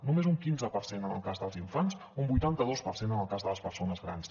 només un quinze per cent en el cas dels infants un vuitanta dos per cent en el cas de les persones grans